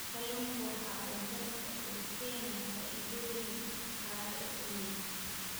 Kalluunku waxa uu dalka u keenaa faa�iidooyin dhaqaale oo weyn.